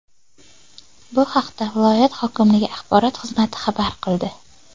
Bu haqda viloyat hokimligi axborot xizmati xabar qildi .